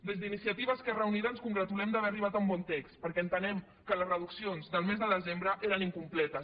des d’iniciativa esquerra unida ens congratulem d’haver arribat a un bon text perquè entenem que les reduccions del mes de desembre eren incompletes